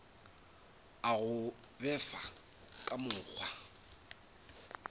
a go befa ka mokgwa